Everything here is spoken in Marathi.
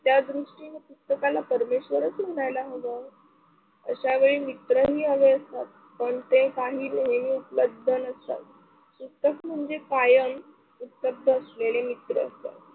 त्यादृष्टीने पुस्तकाला परमेश्वराचा म्हणायला हवा. अशावेळी मित्रही हवे असतात पण ते काही उपलब्ध नसतात, म्हणजे कायम उपलब्ध असलेले मित्र